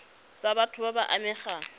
tsa batho ba ba amegang